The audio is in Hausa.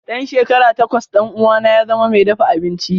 Da shekara takwas ɗan uwana ya zama mai dafa abinci.